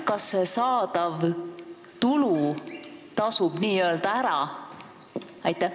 Kas see saadav tulu tasub ikka ära?